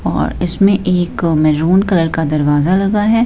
और इसमें एक को मैरून कलर का दरवाजा लगा है।